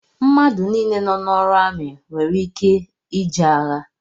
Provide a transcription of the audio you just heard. Mmadụ nile nọ n'ọrụ amị nwèrè ike ije agha